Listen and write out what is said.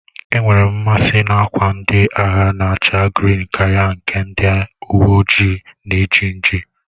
E nwerem mmasi n'akwa ndị agha na-acha grịn Karia nke ndị uwe ojii na eji nji